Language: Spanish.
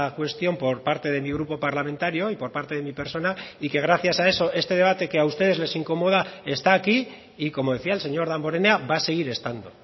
cuestión por parte de mi grupo parlamentario y por parte de mi persona y que gracias a eso este debate que a ustedes les incomoda está aquí y como decía el señor damborenea va a seguir estando